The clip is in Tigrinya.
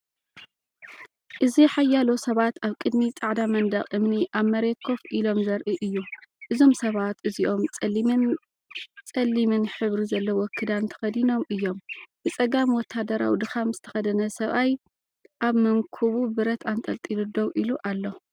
እዚ ሓያሎ ሰባት ኣብ ቅድሚ ጻዕዳ መንደቕ እምኒ ኣብ መሬት ኮፍ ኢሎም ዘርኢ እዩ። እዞም ሰባት እዚኦም ጸሊምን ጸሊምን ሕብሪ ዘለዎ ክዳን ተኸዲኖም እዮም። ብጸጋም ወተሃደራዊ ድኻም ዝተኸድነ ሰብኣይ ኣብ መንኵቡ ብረት ኣንጠልጢሉ ደው ኢሉ ኣሎ።